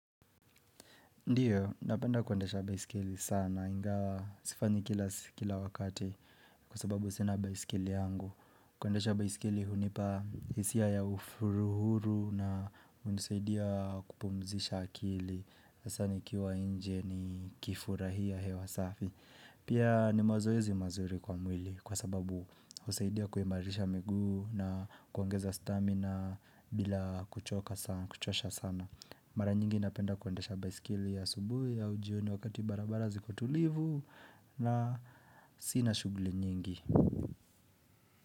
Ndiyo, napenda kuendesha baiskeli sana, ingawa sifanyi kila wakati kwa sababu sina baiskeli yangu. Kuendesha baiskeli hunipa hisia ya uhuru na unisaidia kupumzisha akili. Hasaa nikiwa inje nikifurahia hewa safi. Pia ni mazoezi mazuri kwa mwili kwa sababu husaidia kuimarisha miguu na kuongeza stamina bila kuchosha sana. Mara nyingi napenda kuendesha baiskeli asubuhi au jioni wakati barabara ziko tulivu na sina shuguli nyingi.